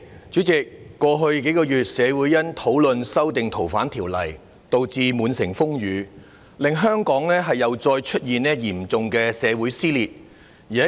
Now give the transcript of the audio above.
主席，在過去數個月，社會因為討論修訂《逃犯條例》導致滿城風雨，令香港又再出現嚴重的社會撕裂。